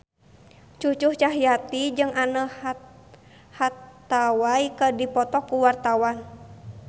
Cucu Cahyati jeung Anne Hathaway keur dipoto ku wartawan